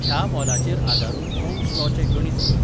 ह्या मोलाचेर आदारून ओह्म्स लॉचें गणीत कर